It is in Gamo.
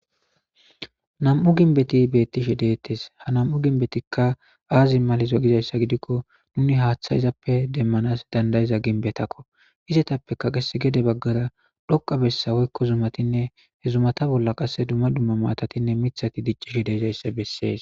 Nam'u ginbeti beettishi deettes ha nam'u ginbetikka aazi malizo gizayssa gidikko nuni haaththa izappe demmanas dandayiza ginbetakko izetappekaqes gede baggara dhoqa bessawoykko zumatinne he zumata bolla qasse dumma dumma maatatinne mithati diccishi deezayssa bessees.